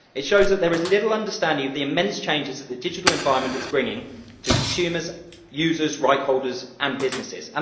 It shows that there is little understanding of the immense changes that the digital environment is bringing to consumers, users, right holders and businesses.